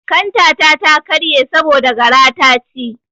Kanta ta ta karye saboda gara ta ci.